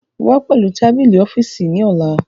Wá pẹ̀lú tábìlì ọ́fíìsì ní ọ̀la